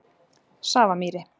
Safamýri